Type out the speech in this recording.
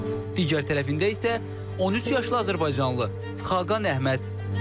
Digər tərəfində isə 13 yaşlı azərbaycanlı Xaqan Əhməd.